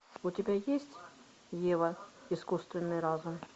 у тебя есть ева искусственный разум